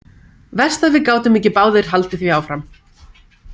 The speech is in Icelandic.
Verst að við gátum ekki báðir haldið því áfram.